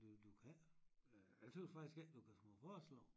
Du du kan æ jeg tøs faktisk æ du kan smage forskel